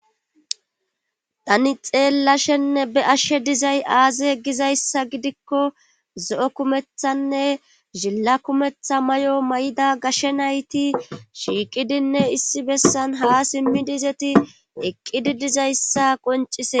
tani xeellashenne be ashshe dizay aaze egizayssa gidikko zo7o kumethanne zhilla kumetha may7o may7ida gashshe nayti shiiqidinne issi bessan ha simmi dizeti eqqidi dizayssa qoncise